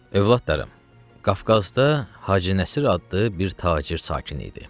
Övladlarım, Qafqazda Hacı Nəsir adlı bir tacir sakin idi.